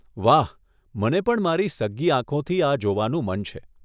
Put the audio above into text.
વાહ, મને પણ મારી સગ્ગી આંખોથી આ જોવાનું મન છે.